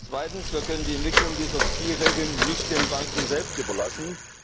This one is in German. Zweitens Wir können die Entwicklung dieser Spielregeln nicht den Banken selbst überlassen.